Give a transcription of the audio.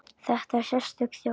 Þetta er sérstök þjóð.